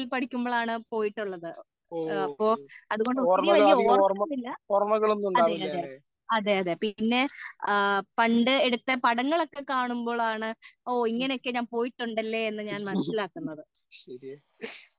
പഠിക്കുമ്പോൾ ആണ് പോയിട്ടുള്ളത് അപ്പൊ അതുകൊണ്ട് ഒത്തിരി വലിയ ഓര്മ ഒന്നും ഇല്ല അതേ അതേ അതേ അതേ പിന്നെ ആ പണ്ട് എടുത്ത പടങ്ങൾ ഒക്കെ കാണുമ്പോൾ ആണ് ഓ ഇങ്ങനെ ഒക്കെ ഞാൻ പോയിട്ടുണ്ടല്ലേ എന്ന് ഞാൻ മനസിലാക്കുന്നത്